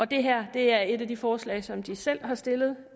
det her er et af de forslag som de selv har stillet